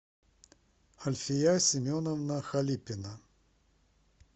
альфия семеновна халипина